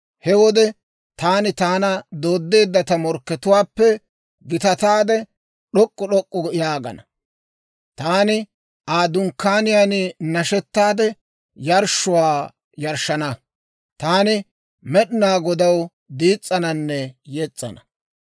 He wode taani taana dooddeedda ta morkkatuwaappe, gitataade d'ok'k'u d'ok'k'u yaagana. Taani Aa dunkkaaniyaan nashetaade yarshshuwaa yarshshana. Taani Med'inaa Godaw diis's'ananne yes's'ana.